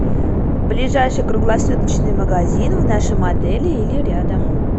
ближайший круглосуточный магазин в нашем отеле или рядом